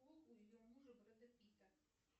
у ее мужа брэда питта